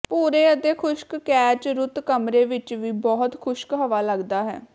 ਭੂਰੇ ਅਤੇ ਖੁਸ਼ਕ ਕੈਚ ਰੁਤ ਕਮਰੇ ਵਿੱਚ ਵੀ ਬਹੁਤ ਖੁਸ਼ਕ ਹਵਾ ਲੱਗਦਾ ਹੈ